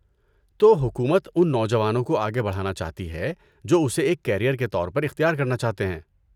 تو حکومت ان نوجوانوں کو آگے بڑھانا چاہتی ہے جو اسے ایک کیریئر کے طور پر اختیار کرنا چاہتے ہیں۔